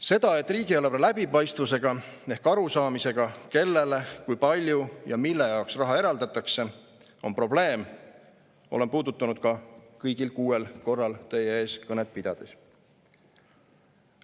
Seda, et riigieelarve läbipaistvusega ehk arusaamisega, kellele, kui palju ja mille jaoks raha eraldatakse, on probleem, olen puudutanud kõigil kuuel korral teie ees kõnet pidades.